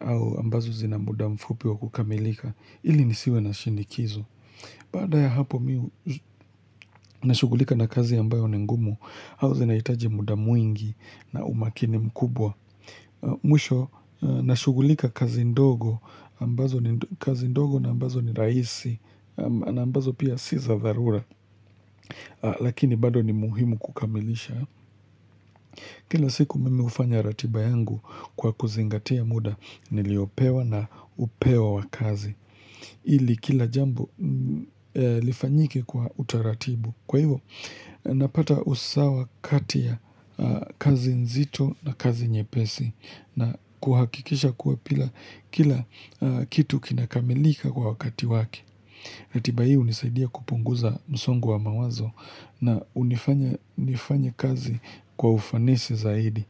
ah au ambazo zina muda mfupi wa kukamilika ili nisiwe na shinikizo, Baada ya hapo mi mi sh nashugulika na kazi ambayo ni ngumu au zinaitaji muda mwingi na umakini mkubwa ah Mwisho nashugulika kazi ndogo ambazo ni ndo kazi ndogo na ambazo ni rahisi ama ah na ambazo pia si za dharura mhh ah Lakini bado ni muhimu kukamilisha mhh Kila siku mimi hufanya ratiba yangu hhh kwa kuzingatia mhh muda niliopewa na upewa wakazi. Mhh ili ili kila jambo mhh lifanyike kwa utaratibu. Kwa hivo mm hh napata usawa kati ya ahh kazi nzito na kazi nyepesi. Ahh na kuhakikisha kuwa pila kila kitu kinakamilika kwa wakati wake. Na tiba hii hunisaidia kupunguza msongu wa mawazo hhh na unifanya nifanye kazi kwa ufanisi zaidi.